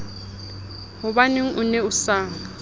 hobaneng o ne o sa